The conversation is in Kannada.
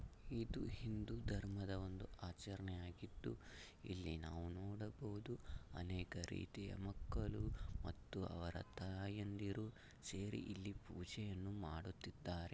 ಇದು ಹಿಂದೂ ಧರ್ಮದ ಒಂದು ಆಚರಣೆಯಾಗಿದ್ದು ಇಲ್ಲಿ ನೋಡಬಹುದು ಅನೇಕ ರೀತಿಯ ಮಕ್ಕಳು ಮತ್ತು ಅವರ ತಾಯಂದಿರು ಸೇರಿ ಇಲ್ಲಿ ಪೂಜೆಯನ್ನು ಮಾಡುತ್ತಿದಾರೆ .